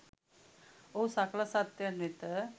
ඔහු සකල සත්වයන් වෙත